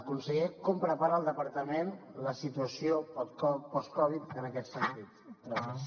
conseller com prepara el departament la situació post covid en aquest sentit gràcies